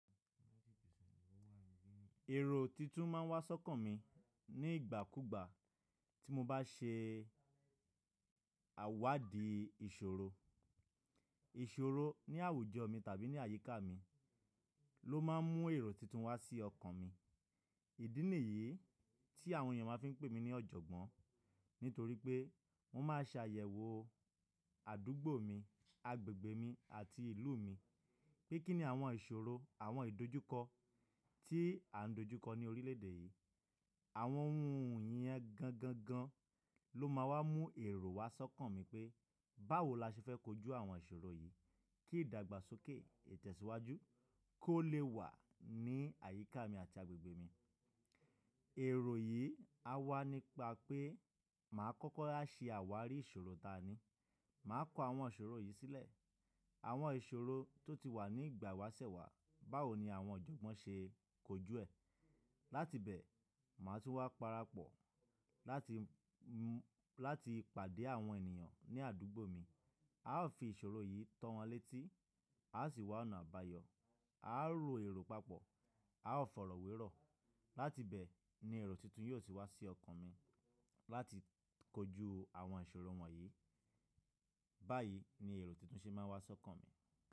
Èrò titun máa ń wá ṣọ́kàn mi ní ìgbà kú ìgbà tí mo bá ṣe àwádìí ìṣòro. Ìṣòro ní àwùjọ mi tàbí ní àyíká mi ló máa ń mú èrò titun wá sí ọkàn mi. Ìdí nìyí tí àwọn ènìyàn fi máa ń pè mí ní ọ̀jọ̀gbọ́n nítorí pé mo máa ń ṣe àyẹ̀wò àdúgbò mi, agbègbè mi àti ìlú mi. Kí kí ni àwọn ìṣòro, àwọn ìdojúkọ tí à ń dojúkọ ní orílẹ̀ èdè yìí. Àwọn ohun yẹn gangan ló máa wá mú èrò wá ṣọ́kàn mi pé báwo la ṣe fẹ́ kojú àwọn ìṣòro yìí kí ìdàgbàsókè, ìtẹ̀síwájú kó lè wà ní àyíká mi àti agbègbè mi. Èrò yìí á wá nípa pé màá kọ́kọ́ rá ṣe àwárí ìṣòro tani, màá kọ àwọn ìṣòro yìí sílẹ̀. Àwọn ìṣòro tó ti wà ní ìgbà ìwásẹ̀ wà, báwo ni àwọn ọ̀jọ̀gbọ́n ṣe kojú ẹ̀. Láti bẹ̀, màá tún wá parapọ̀ láti, láti pàdé àwọn ènìyàn ní àdúgbò mi. A ó fi ìṣòro yìí tọ́ wọn létí, a ó sì wá ọ̀nà àbáyọ, a ó ro èrò papọ̀, a ó fọ̀rọ̀wérọ̀. Láti bẹ̀ ni èrò titun yóò ti wá sí ọkàn mi láti kojú àwọn ìṣòro wọ̀nyí. Báyìí ni èrò titun ṣe máa ń wá ṣọ́kàn mi.